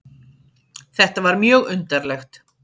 Þetta var mjög undarlegt.